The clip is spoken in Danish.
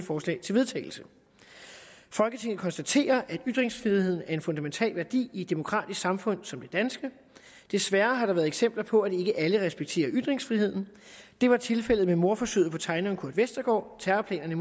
forslag til vedtagelse folketinget konstaterer at ytringsfriheden er en fundamental værdi i et demokratisk samfund som det danske desværre har der været eksempler på at ikke alle respekterer ytringsfriheden det var tilfældet med mordforsøget på tegneren kurt westergaard terrorplanerne